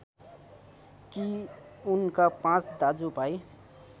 कि उनका पाँच दाजुभाई